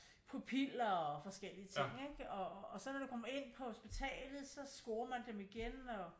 Pupiler og øh forskellige ting ikke og så når man kommer ind på hospitalet så scorer man dem igen og